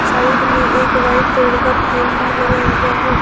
Side में एक white colour का फैन भी लगा हुआ है।